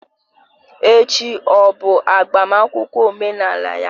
Echi ọ bụ agbamakwụkwọ omenala ya?